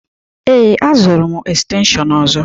Ee, azụrụ m estenshịon ọzọ.